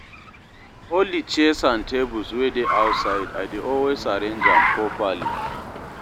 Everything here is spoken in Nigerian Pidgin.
all di chairs and tables wey dey outside, I dey always arrange am properly